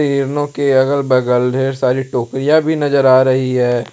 हिरनों के अगल बगल ढेर सारी टोकरिया भी नजर आ रही है।